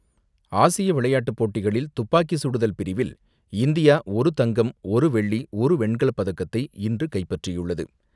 ஆசிய விளையாட்டுப்போட்டிகளில் துப்பாக்கி சுடுதல் பிரிவில் இந்தியா ஒரு தங்கம், ஒரு வெள்ளி, ஒரு வெண்கலப்பதக்கத்தை இன்று கைப்பற்றியுள்ளது.